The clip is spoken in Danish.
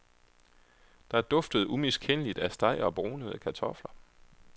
Der duftede umiskendeligt af steg og brunede kartofler.